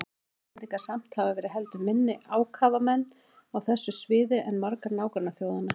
Munu Íslendingar samt hafa verið heldur minni ákafamenn á þessu sviði en margar nágrannaþjóðanna.